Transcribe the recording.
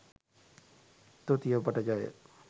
තුති ඔබට ජය.